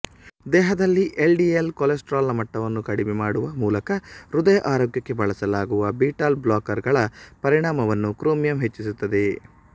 ದೇಹದಲ್ಲಿ ಎಲ್ಡಿಎಲ್ ಕೊಲೆಸ್ಟ್ರಾಲ್ನ ಮಟ್ಟವನ್ನು ಕಡಿಮೆ ಮಾಡುವ ಮೂಲಕ ಹೃದಯ ಆರೋಗ್ಯಕ್ಕೆ ಬಳಸಲಾಗುವ ಬೀಟಾಬ್ಲಾಕರ್ಗಳ ಪರಿಣಾಮವನ್ನು ಕ್ರೋಮಿಯಂ ಹೆಚ್ಚಿಸುತ್ತದೆ